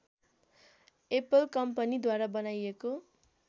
Apple company द्वारा बनाइएको